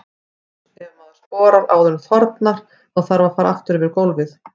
Eins ef maður sporar áður en þornar, þá þarf að fara aftur yfir gólfið.